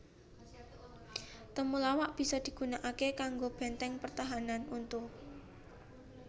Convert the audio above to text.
Temulawak bisa digunakaké kanggo bèntèng pertahanan untu